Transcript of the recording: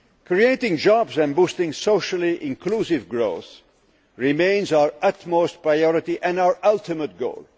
Creating jobs and boosting socially inclusive growth remains our utmost priority and our ultimate goal.